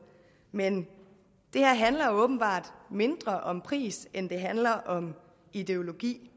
men det her handler åbenbart mindre om pris end det handler om ideologi